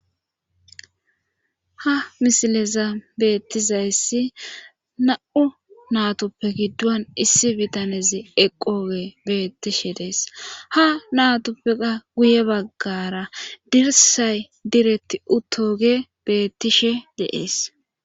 ha misileza beettizayssi na7u natoppe giddon issi bitanezi eqooge beettishe dees ha natoppea guye baggara dirsay diretti uttoge beettishe deees